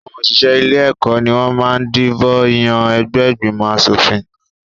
Àwọn òṣìṣẹ́ ilé-ẹ̀kọ́ ni wọ́n máa ń dìbò yàn ẹgbẹ́ ìgbòmọ̀-aṣòfin.